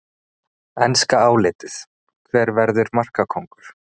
Enska álitið: Hver verður markakóngur?